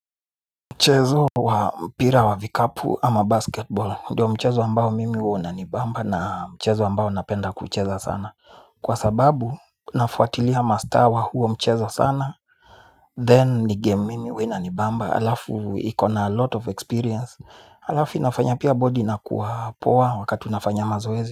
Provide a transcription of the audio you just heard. Mchezo wa mpira wa vikapu ama basketball ndiyo mchezo ambao mimi huwa unanibamba na mchezo ambao napenda kucheza sana kwa sababu nafuatilia mastar wa huo mchezo sana Then ni game mimi huwa inanibamba, halafu iko na a lot of experience. Halafu inafanya pia body inakuwa poa wakati unafanya mazoezi.